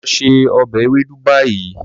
Lọ se ọbẹ Ewedu bayi!